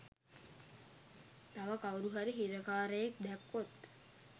තව කවුරුහරි හිරකාරයෙක් දැක්කොත්